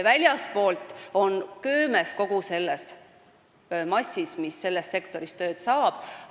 Väljastpoolt tulijad on köömes kogu selles massis, mis selles sektoris tööd saab.